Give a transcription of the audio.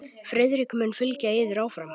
Friðrik mun fylgja yður áfram.